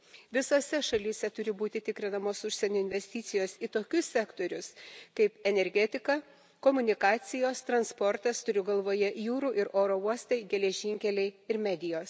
Visose šalyse turi būti tikrinamos užsienio investicijos į tokius sektorius kaip energetika, komunikacijos, transportas turiu galvoje jūrų ir oro uostai, geležinkeliai ir medijos.